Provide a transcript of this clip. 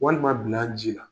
Walima dila ji la.